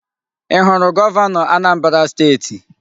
I huru Governo Anambra steeti?